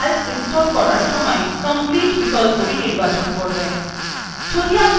মনে রাখবেন calc install করার সময় complete বিকল্পটি নির্বাচন করবেন